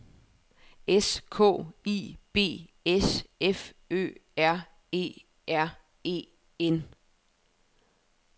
S K I B S F Ø R E R E N